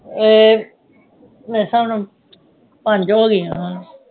ਇਹ ਮੇਰੇ ਹਿਸਾਬ ਨਾਲ ਪੰਜ ਹੋ ਗਈਆਂ